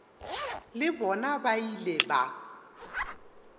le bona ba ile ba